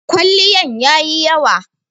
kwaliyan yayi yawa